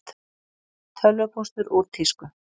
Tölvupóstur úr tísku